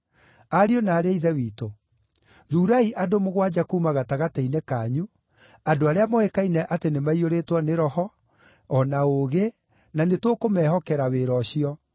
Ariũ na aarĩ a Ithe witũ, thuurai andũ mũgwanja kuuma gatagatĩ-inĩ kanyu, andũ arĩa moĩkaine atĩ nĩ maiyũrĩtwo nĩ Roho, o na ũũgĩ, na nĩtũkũmehokera wĩra ũcio,